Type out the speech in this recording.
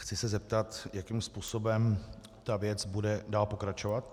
Chci se zeptat, jakým způsobem ta věc bude dál pokračovat.